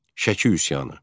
Şəki üsyanı.